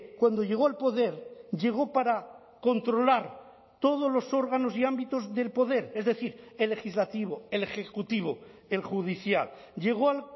cuando llegó al poder llegó para controlar todos los órganos y ámbitos del poder es decir el legislativo el ejecutivo el judicial llegó al